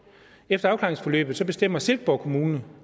efter afklaringsforløbet bestemmer silkeborg kommune